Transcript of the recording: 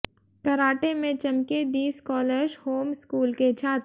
karate में चमके the scholars home school के छात्र